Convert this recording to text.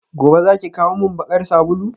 gobe zaki kawo min bakar sabulu?